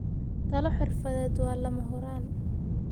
Talo xirfadeed waa lama huraan.